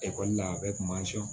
Ekɔli la a bɛɛ kun b'an sɔn